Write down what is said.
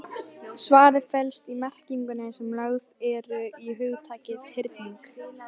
Svarið felst í merkingunni sem lögð er í hugtakið hyrning.